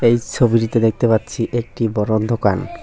এই সবিটিতে দেখতে পাচ্ছি একটি বড় দোকান।